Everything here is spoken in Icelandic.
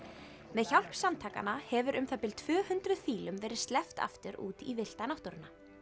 með hjálp samtakanna hefur um það bil tvö hundruð fílum verið sleppt aftur út í villta náttúruna